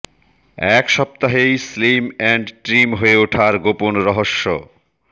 এক সপ্তাহেই slim and trim হয়ে ওঠার গোপন রহস্য